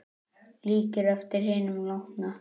Líkir eftir hinum látna